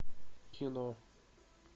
кино